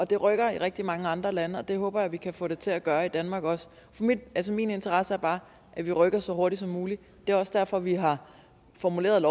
det rykker i rigtig mange andre lande og det håber jeg vi også kan få det til at gøre i danmark min interesse er bare at vi rykker så hurtigt som muligt det er også derfor vi har formuleret